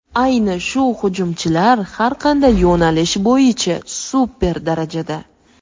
Ayni shu hujumchilar har qanday yo‘nalish bo‘yicha super darajada.